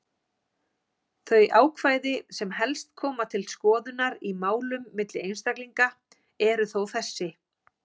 Þau ákvæði sem helst koma til skoðunar í málum milli einstaklinga eru þó þessi: